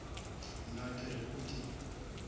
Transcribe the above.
nna ke re o di